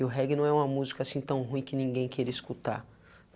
E o reggae não é uma música assim tão ruim que ninguém queira escutar.